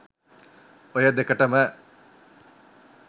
ඔය දෙකටම